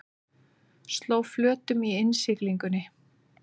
Sló flötum í innsiglingunni